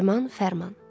Nəriman Fərman.